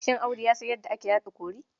Shin Audu ya san yadda ake haɗa kori?